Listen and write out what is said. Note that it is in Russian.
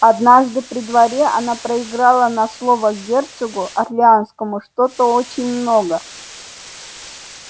однажды при дворе она проиграла на слово герцогу орлеанскому что-то очень много